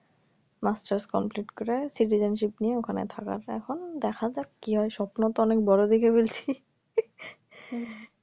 masters complete করে citizenship নিয়ে ওখানে থাকার তারপর দেখা যাক কি হয় স্বপ্ন তো অনেক বড়ো দেখে ফেলছি